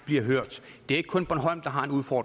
det